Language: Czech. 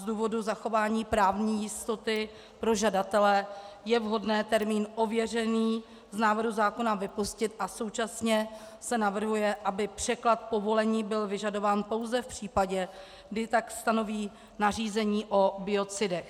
Z důvodu zachování právní jistoty pro žadatele je vhodné termín "ověřený" z návrhu zákona vypustit a současně se navrhuje, aby překlad "povolení" byl vyžadován pouze v případě, kdy tak stanoví nařízení o biocidech.